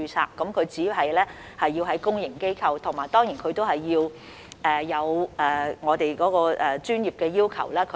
有關醫生只需要在公營醫療機構工作，並且達到我們的專業要求。